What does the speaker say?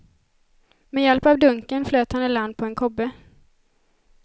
Med hjälp av dunken flöt han i land på en kobbe.